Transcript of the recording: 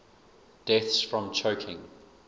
deaths from choking